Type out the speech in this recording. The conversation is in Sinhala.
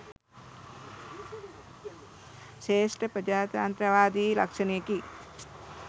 ශ්‍රේෂ්ඨ ප්‍රජාතන්ත්‍රවාදී ලක්ෂණයකි.